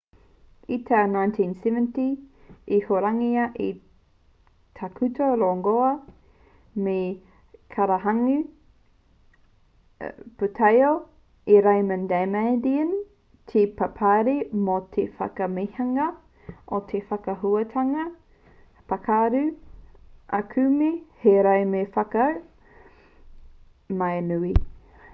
i te tau 1970 i hurangia e te tākuta rongoā me te kairangahau pūtaiao e raymond damadian te paparahi mō te whakamahinga o te whakaahuatanga pākuru aukume hei rauemi whakatau māuiui